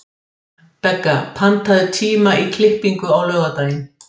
Begga, pantaðu tíma í klippingu á laugardaginn.